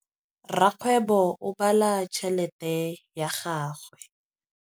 Rakgwêbô o bala tšheletê ya gagwe.